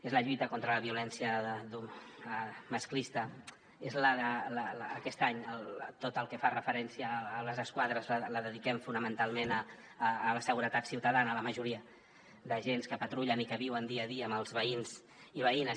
és la lluita contra la violència masclista és aquest any tot el que fa referència a les esquadres ho dediquem fonamentalment a la seguretat ciutadana a la majoria d’agents que patrullen i que viuen dia a dia amb els veïns i veïnes